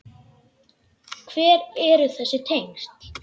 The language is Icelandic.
Hver eru þessi tengsl?